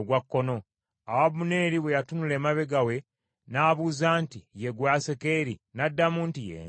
Awo Abuneeri bwe yatunula emabega we, n’abuuza nti, “Ye ggwe Asakeri?” N’addamu nti, “Ye nze.”